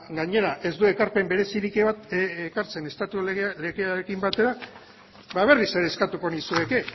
gainera ez du ekarpen berezirik ekartzen estatu legearekin batera ba berriz ere eskatuko nizueke